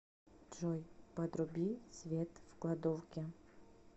джой подруби свет в кладовке